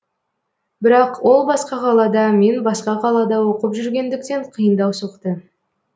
бірақ ол басқа қалада мен басқа қалада оқып жүргендіктен қиындау соқты